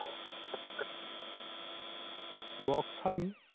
Box হয়নি?